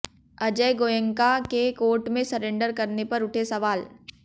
अजय गोयनका के कोर्ट में सरेंडर करने पर उठे सवाल